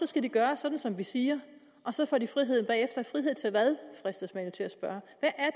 skal de gøre sådan som vi siger og så får de friheden bagefter men frihed til hvad fristes man jo til at spørge